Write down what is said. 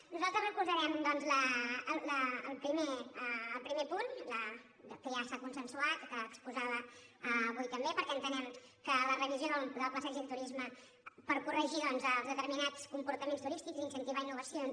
nosaltres recolzarem doncs el primer punt que ja s’ha consensuat que exposava avui també perquè en·tenem que la revisió del pla estratègic de turisme per corregir doncs els determinats comportaments tu·rístics i incentivar innovacions